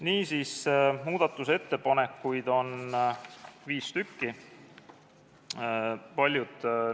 Niisiis, muudatusettepanekuid on viis.